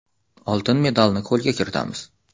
Oltin medalni qo‘lga kiritamiz”.